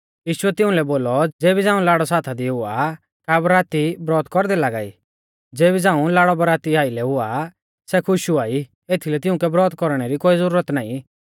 यीशुऐ तिउंलै बोलौ ज़ेबी झ़ांऊ लाड़ौ साथा दी हुआ का बराती ब्रौत कौरदै लागा ई ज़ेबी झ़ांऊ लाड़ौ बरातीउ आइलै हुआ सै खुश हुआई एथीलै तिउंकै ब्रौत कौरणै री कोई ज़ुरत नाईं